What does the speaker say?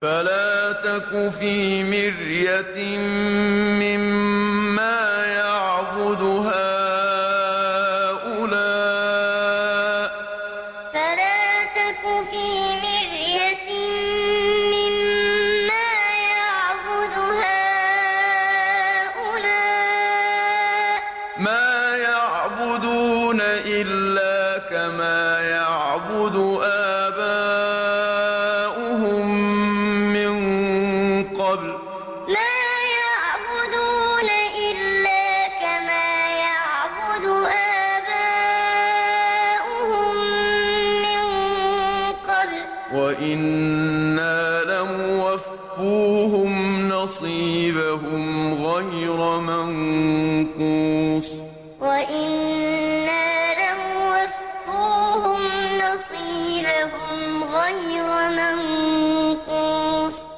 فَلَا تَكُ فِي مِرْيَةٍ مِّمَّا يَعْبُدُ هَٰؤُلَاءِ ۚ مَا يَعْبُدُونَ إِلَّا كَمَا يَعْبُدُ آبَاؤُهُم مِّن قَبْلُ ۚ وَإِنَّا لَمُوَفُّوهُمْ نَصِيبَهُمْ غَيْرَ مَنقُوصٍ فَلَا تَكُ فِي مِرْيَةٍ مِّمَّا يَعْبُدُ هَٰؤُلَاءِ ۚ مَا يَعْبُدُونَ إِلَّا كَمَا يَعْبُدُ آبَاؤُهُم مِّن قَبْلُ ۚ وَإِنَّا لَمُوَفُّوهُمْ نَصِيبَهُمْ غَيْرَ مَنقُوصٍ